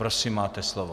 Prosím, máte slovo.